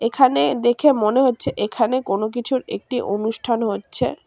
এখানে দেখে মনে হচ্ছে এখানে কোন কিছুর একটি অনুষ্ঠান হচ্ছে।